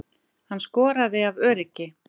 Hann skoraði af öryggi